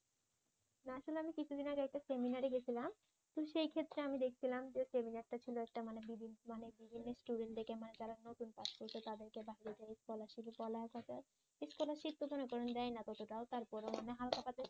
না আসলে আমি কিছুদিন আগে একটা সেমিনারে গেছিলাম তো সেইক্ষেত্রে আমি দেখছিলাম সেই সেমিনার টা ছিল একটা মানে বিভিন্ন স্টুডেন্টদেরকে মানে যারা নতুন পাস করেছে তাদেরকে বাহিবে যায় স্কলারশিপে স্কলারশিপ তো ধরেন দেয় না ততটাও তারপরও মানে হালকা পাতলা